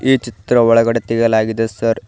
ಈ ಚಿತ್ರ ಒಳಗಡೆ ತೆಗೆಯಲಾಗಿದೆ ಸರ್ .